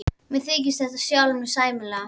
Ég þykist þekkja sjálfa mig sæmilega.